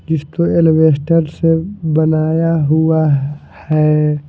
जिसको एलवेस्टर से बनाया हुआ है।